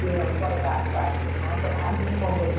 କୁଆଡେ ବାହାରକୁ ବାହାରି ହବ ନହେଲେ ତ ବାହାରି ହବନି କଣ କରିଆ?